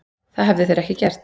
Það hefðu þeir ekki gert